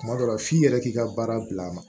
Kuma dɔ la f'i yɛrɛ k'i ka baara bila a ma